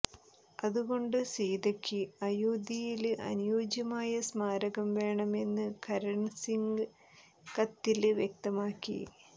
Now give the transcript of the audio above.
അതുകൊണ്ട് സീതയ്ക്ക് അയോധ്യയില് അനുയോജ്യമായ സ്മാരകം വേണമെന്ന് കരണ് സിങ് കത്തില് വ്യക്തമാക്കി